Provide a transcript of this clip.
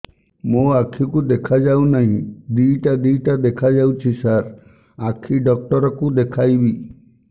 ମୋ ଆଖିକୁ ଦେଖା ଯାଉ ନାହିଁ ଦିଇଟା ଦିଇଟା ଦେଖା ଯାଉଛି ସାର୍ ଆଖି ଡକ୍ଟର କୁ ଦେଖାଇବି